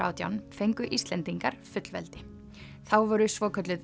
átján fengu Íslendingar fullveldi þá voru svokölluð